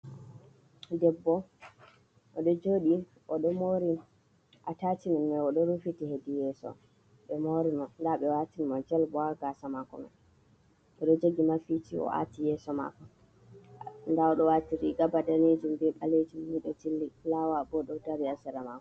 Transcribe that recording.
Debbo oɗo joɗi. Oɗo mori atacimen mai oɗo rufiti hedi yeso. Nda ɓe watin mo jel bo ha gaasa mako. Ɓe ɗo jogi mafici o aati yeso mako. Nda oɗo wati riga ba danejum ɓe balejum. mido fulawa bo ɗo dari ha sera mako.